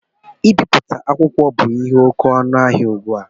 Ibipụta akwụkwọ bu ihe oké ọnụ ahịa ụgbụ a